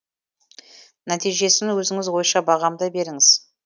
нәтижесін өзіңіз ойша бағамдай беріңіз